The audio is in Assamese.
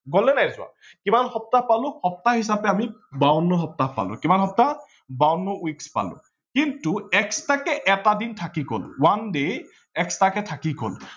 গল নে নাই যোৱা। কিমান সপ্তাহ পালো সপ্তাহ হিচাপে আমি বাৱন্ন সপ্তাহ পালো, কিমান সপ্তাহ বাৱন্ন weeks পালো কিন্তু extra কে এটা দিন থাকি গল one day extra কে থাকি গল